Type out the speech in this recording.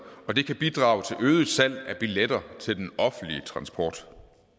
og det kan bidrage til øget salg af billetter til den offentlige transport